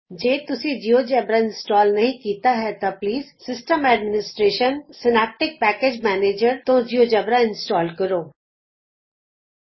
ਜੇ ਤੁਸੀਂ GeoGebra install ਨਹੀਂ ਕੀਤਾ ਤਾਂ please system - administration Synaptic package manager system administration Synaptic package manager ਤੋਂ ਜਿਉਜੇਬਰਾ ਇੰਸਟਾਲ ਕਰੋ